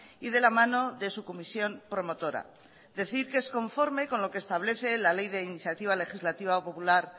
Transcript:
y de la mano de su comisión promotora decir que es conforme con lo que establece la ley de iniciativa legislativa popular